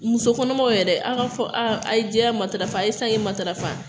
Musokɔnɔmaw yɛrɛ, aw ka fɔ, a ye jɛya matarafa, a ye sanke matarafa